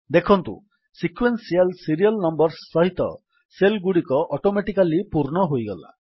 ଦେଖନ୍ତୁ sequential serial numbers ସହିତ cell ଗୁଡ଼ିକ ଅଟୋମେଟିକାଲୀ ପୂର୍ଣ୍ଣ ହୋଇଗଲା